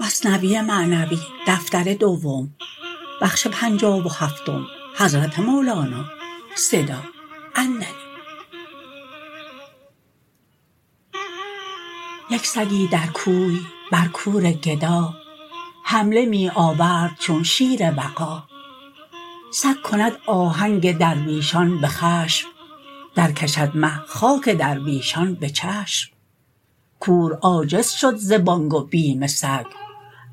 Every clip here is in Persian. یک سگی در کوی بر کور گدا حمله می آورد چون شیر وغا سگ کند آهنگ درویشان بخشم در کشد مه خاک درویشان بچشم کور عاجز شد ز بانگ و بیم سگ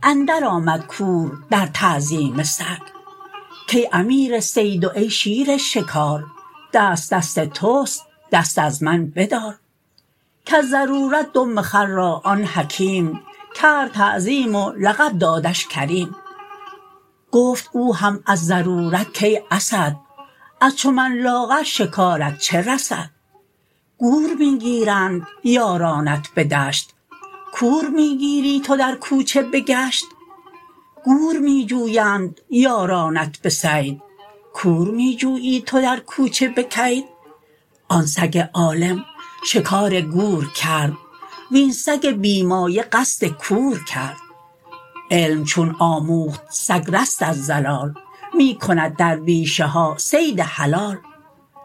اندر آمد کور در تعظیم سگ کای امیر صید و ای شیر شکار دست دست تست دست از من بدار کز ضرورت دم خر را آن حکیم کرد تعظیم و لقب دادش کریم گفت او هم از ضرورت کای اسد از چو من لاغر شکارت چه رسد گور می گیرند یارانت به دشت کور می گیری تو در کوچه بگشت گور می جویند یارانت بصید کور می جویی تو در کوچه بکید آن سگ عالم شکار گور کرد وین سگ بی مایه قصد کور کرد علم چون آموخت سگ رست از ضلال می کند در بیشه ها صید حلال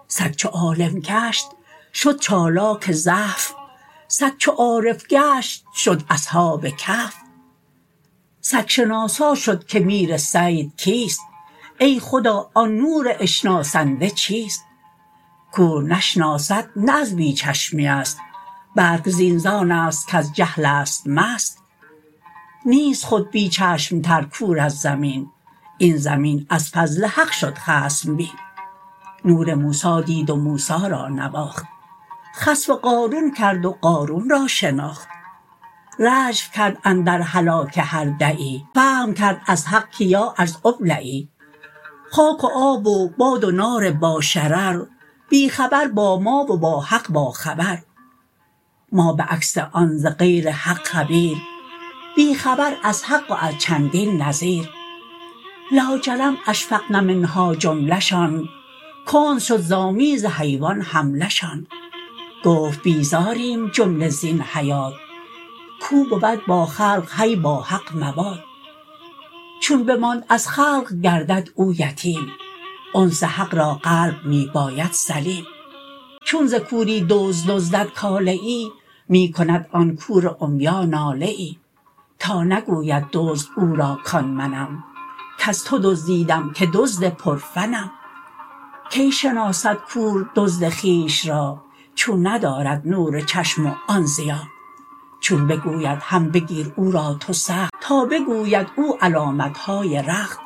سگ چو عالم گشت شد چالاک زحف سگ چو عارف گشت شد اصحاب کهف سگ شناسا شد که میر صید کیست ای خدا آن نور اشناسنده چیست کور نشناسد نه از بی چشمی است بلک این زانست کز جهلست مست نیست خود بی چشم تر کور از زمین این زمین از فضل حق شد خصم بین نور موسی دید و موسی را نواخت خسف قارون کرد و قارون را شناخت رجف کرد اندر هلاک هر دعی فهم کرد از حق که یاارض ابلعی خاک و آب و باد و نار با شرر بی خبر با ما و با حق با خبر ما بعکس آن ز غیر حق خبیر بی خبر از حق و از چندین نذیر لاجرم اشفقن منها جمله شان کند شد ز آمیز حیوان حمله شان گفت بیزاریم جمله زین حیات کو بود با خلق حی با حق موات چون بماند از خلق گردد او یتیم انس حق را قلب می باید سلیم چون ز کوری دزد دزدد کاله ای می کند آن کور عمیا ناله ای تا نگوید دزد او را کان منم کز تو دزدیدم که دزد پر فنم کی شناسد کور دزد خویش را چون ندارد نور چشم و آن ضیا چون بگوید هم بگیر او را تو سخت تا بگوید او علامتهای رخت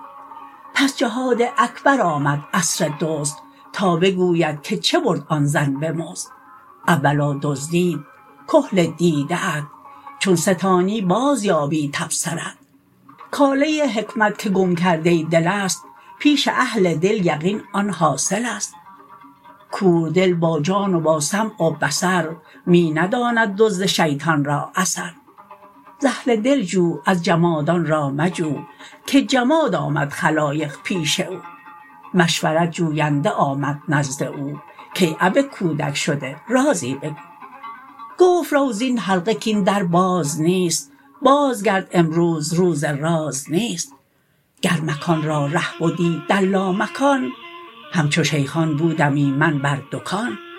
پس جهاد اکبر آمد عصر دزد تا بگوید که چه برد آن زن بمزد اولا دزدید کحل دیده ات چون ستانی باز یابی تبصرت کاله حکمت که گم کرده دلست پیش اهل دل یقین آن حاصلست کوردل با جان و با سمع و بصر می نداند دزد شیطان را ز اثر ز اهل دل جو از جماد آن را مجو که جماد آمد خلایق پیش او مشورت جوینده آمد نزد او کای اب کودک شده رازی بگو گفت رو زین حلقه کین در باز نیست باز گرد امروز روز راز نیست گر مکان را ره بدی در لامکان همچو شیخان بودمی من بر دکان